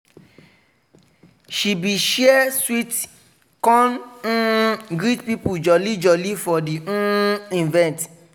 she bi share sweet con um greet people jolly jolly for di um event.